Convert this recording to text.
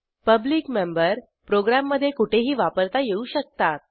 public member प्रोग्रॅममधे कुठेही वापरता येऊ शकतात